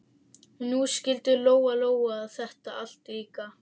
Og nú skildi Lóa Lóa þetta allt líka.